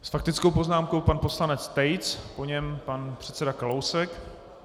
S faktickou poznámkou pan poslanec Tejc, po něm pan předseda Kalousek.